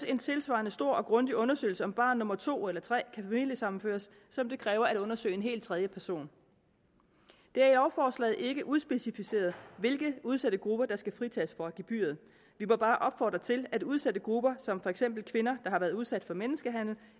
en tilsvarende stor og grundig undersøgelse af hvorvidt barn nummer to eller tre kan familiesammenføres som det kræver at undersøge en helt tredje person det er i lovforslaget ikke udspecificeret hvilke udsatte grupper der skal fritages for gebyret vi må bare opfordre til at udsatte grupper som for eksempel kvinder der har været udsat for menneskehandel